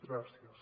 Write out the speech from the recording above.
gràcies